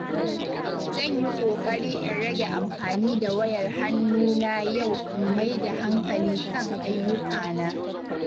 Zan yi ƙoƙari in rage amfani da wayar hannu na yau in maida hankali kan ayyukana.